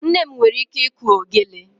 Nne m nwere ike ịkụ ogelè.